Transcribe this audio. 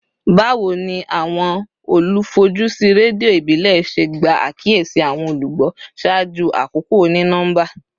Bawo ni awọn olufojusi redio ibile ṣe gba akiyesi awọn olugbo ṣaaju akoko oni-nọmba?